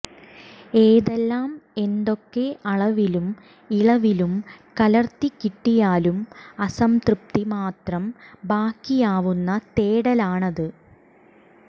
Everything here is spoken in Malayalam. ഏതെല്ലാം എന്തൊക്കെ അളവിലും ഇളവിലും കലര്ത്തിക്കിട്ടിയാലും അസംതൃപ്തി മാത്രം ബാക്കിയാവുന്ന തേടലാണത്